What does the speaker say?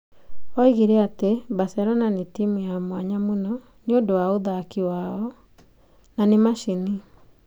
Oigire atĩ Barcelona nĩ timu ya mwanya mũno nĩ ũndũ wa ũthaki wao. Na nĩ macini.